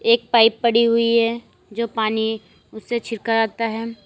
एक पाइप पड़ी हुई है जो पानी उसे छिरका आता है।